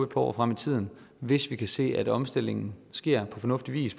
år frem i tiden hvis vi kan se at omstillingen sker på fornuftig vis